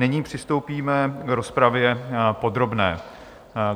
Nyní přistoupíme k rozpravě podrobné.